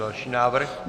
Další návrh?